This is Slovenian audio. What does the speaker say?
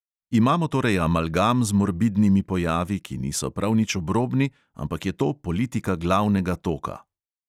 Imamo torej amalgam z morbidnimi pojavi, ki niso prav nič obrobni, ampak je to politika glavnega toka.